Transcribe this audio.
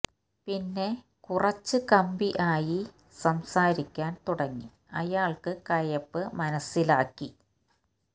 പിന്നെ കുറച്ചു കമ്പി ആയി സംസാരിക്കാൻ തുടങ്ങി അയാൾക് കയ്പ്പ് മനസ്സിൽ ആക്കി